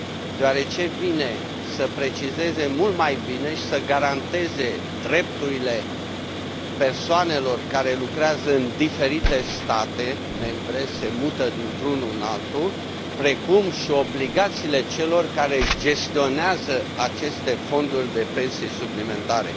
deoarece vine să precizeze mult mai bine și să garanteze drepturile persoanelor care lucrează în diferite state membre, se mută dintr unul în altul, precum și obligațiile celor care gestionează aceste fonduri de pensii suplimentare.